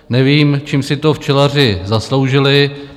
Nevím, čím si to včelaři zasloužili.